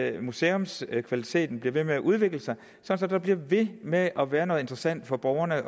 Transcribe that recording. at museumskvaliteten bliver ved med at udvikle sig så der bliver ved med at være noget interessant for borgerne